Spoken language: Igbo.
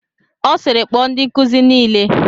Ọ sịịrị, kpọọ ndị nkuzi niile!